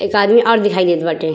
एक आदमी और दिखाई देत बाटे।